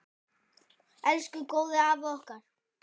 Elsku góði afi okkar.